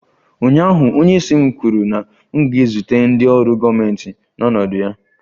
Ụnyaahụ, onyeisi m kwuru na m ga-ezute ndị ọrụ gọọmentị n'ọnọdụ ya!